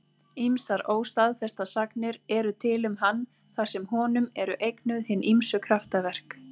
Ýmsar óstaðfestar sagnir eru til um hann þar sem honum eru eignuð hin ýmsu kraftaverk.